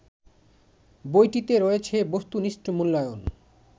বইটিতে রয়েছে বস্তুনিষ্ঠ মূল্যায়ন